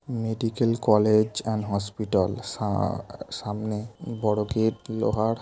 Medical college and hospital. সা-আ-আ- সামনে বড় গেট লোহার।